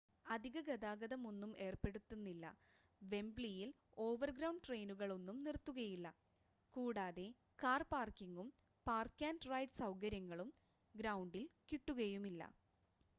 അധിക ഗതാഗതം ഒന്നും ഏർപ്പെടുത്തുന്നില്ല വെംബ്ലിയിൽ ഓവർഗ്രൗണ്ട് ട്രെയിനുകൾ ഒന്നും നിർത്തുകയില്ല കൂടാതെ കാർ പാർക്കിങ്ങും പാർക്ക് ആൻഡ് റൈഡ് സൗകര്യങ്ങളും ഗ്രൗണ്ടിൽ കിട്ടുകയുമില്ല